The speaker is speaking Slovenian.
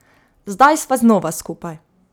Zdaj sta znova skupaj.